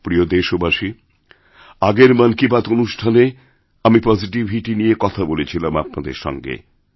প্রিয়দেশবাসী আগের মন কি বাত অনুষ্ঠানে আমিপজিটিভিটি নিয়ে কথা বলেছিলাম আপনাদের সঙ্গে